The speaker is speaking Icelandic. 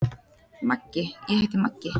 Maggi: Ég heiti Maggi.